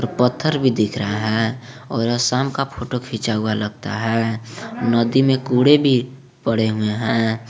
पत्थर भी दिख रहा है और आसाम का फोटो खींचा हुआ लगता है नदी में कूड़े भी पड़े हुए हैं।